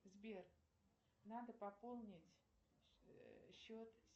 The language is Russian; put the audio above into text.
сбер надо пополнить счет